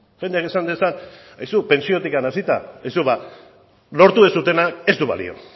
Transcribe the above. jendeak esan dezan aizu pentsiotik hasita aizu lortu duzuena ez du balio